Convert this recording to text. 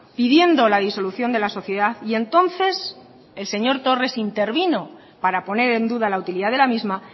pidiendo la disolución de la sociedad y entonces el señor torres intervino para poner en duda la utilidad de la misma